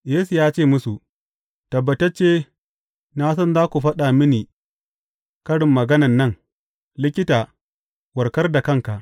Yesu ya ce musu, Tabbatacce, na san za ku faɗa mini karin maganan nan, Likita, warkar da kanka!